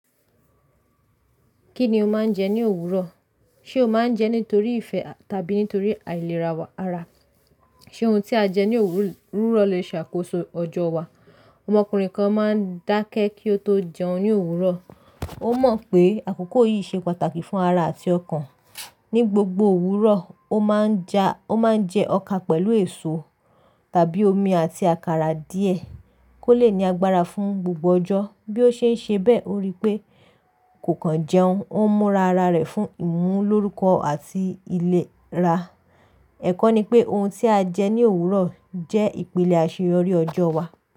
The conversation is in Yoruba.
Kí ni o máa ń jẹ ní òwúrọ̀? Ṣé o máa ń jẹ nítorí ìfẹ́ tàbí nítorí àìlera ara? Ṣé ohun tí a jẹ ní òwúrọ̀ lè ṣàkóso ọjọ́ wa? Ọmọkùnrin kan máa ń dákẹ́ kí ó tó jẹun ní òwúrọ̀. Ó mọ̀ pé àkókò yìí ṣe pàtàkì fún ara àti ọkàn. Ní gbogbo òwúrọ̀, ó máa ń jẹ ọkà pẹ̀lú èso tàbí omi àti àkàrà díẹ̀ kó lè ní agbára fún gbogbo ọjọ́. Bí ó ṣe ń ṣe bẹ́ẹ̀, ó rí pé kò kàn jẹun. Ó múra ara rẹ̀ fún ìmúlórúkọ àti ìlera. Ẹ̀kọ́ ni pé ohun tí a jẹ ní òwúrọ̀ jẹ́ ìpele àṣeyọrí ọjọ́ wa.